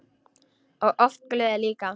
Og oft glöð líka.